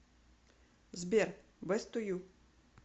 сбер бест ту ю